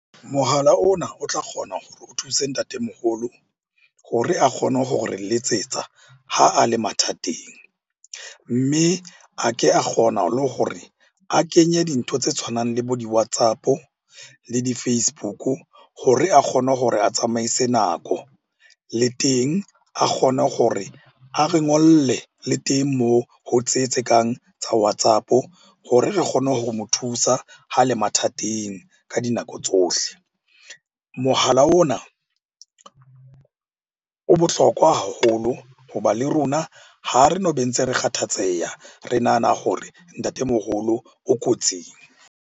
Mohala ona o tla kgona hore o thuse ntatemoholo hore a kgone hore re letsetsa ha a le mathateng. Mme a ke a kgona le hore a kenye dintho tse tshwanang le bo di-WhatsApp-o le di-Facebook-u hore a kgone hore a tsamaise nako. Le teng a kgone hore a re ngolle le teng moo ho tse tse kang tsa WhatsApp-o hore re kgone ho mo thusa ha le mathateng ka dinako tsohle. Mohala ona o bohlokwa haholo hoba le rona ha re no be ntse re kgathatseha re nahana hore ntatemoholo o kotsing.